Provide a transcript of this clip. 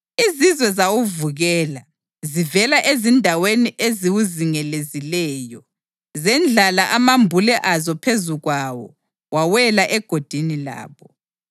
Izizwe zawuvukela, zivela ezindaweni eziwuzingelezileyo. Zendlala amambule azo phezu kwawo wawela egodini labo.